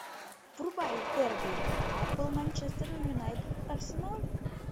врубай дерби апл манчестер юнайтед арсенал